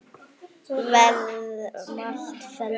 Verði allt með felldu.